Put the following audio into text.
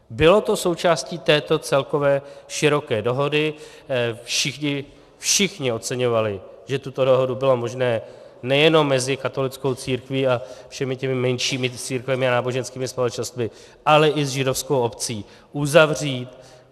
Bylo to součástí této celkové široké dohody, všichni doceňovali, že tuto dohodu bylo možné nejen mezi katolickou církví a všemi těmi menšími církvemi a náboženskými společnostmi, ale i s židovskou obcí uzavřít.